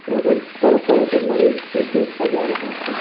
यहाँ पर तरह तरह के मरीज को देखा जा रहा है।